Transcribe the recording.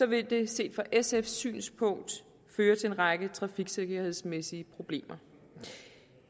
vil det set fra sfs synspunkt føre til en række trafiksikkerhedsmæssige problemer